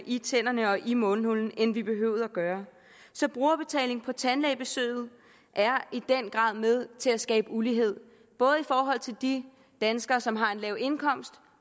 i tænderne og i mundhulen end vi behøvede at gøre så brugerbetaling på tandlægebesøget er i den grad med til at skabe ulighed både i forhold til de danskere som har en lav indkomst